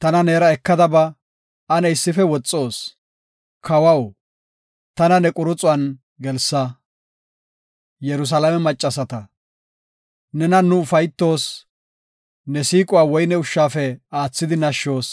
Tana neera ekada ba; ane issife woxoos! Kawaw, tana ne quruxuwan gelsa. Yerusalaame maccasata Nenan nu ufaytoos; ne siiquwa woyne ushshafe aathidi nashshoos.